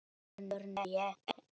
Örn, ég er hér